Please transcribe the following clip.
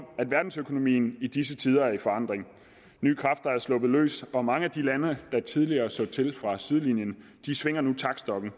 verdensøkonomien i disse tider er i forandring nye kræfter er sluppet løs og mange lande der tidligere så til fra sidelinjen svinger nu taktstokken